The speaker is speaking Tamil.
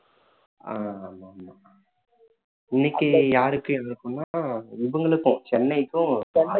ஆஹ் இன்னைக்கு யாருக்கு எதிர்ப்புன்னா இவங்களுக்கும் சென்னைக்கும்